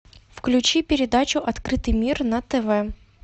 включи передачу открытый мир на тв